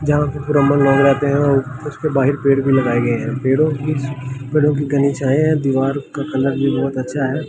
जहां ब्राह्मण लोग रहते हैं उसके बाहर पेड़ भी लगाए गए हैं पेड़ों की पेड़ों की घनी छाए हैं दीवार का कलर भी बहुत अच्छा है।